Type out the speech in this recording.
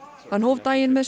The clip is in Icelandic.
hann hóf daginn með